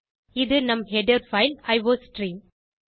இது நம் header file iostream